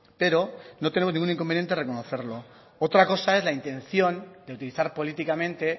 pero no tenemos ningún inconveniente en reconocerlo otra cosa es la intención de utilizar políticamente